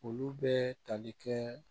Olu bɛ tali kɛ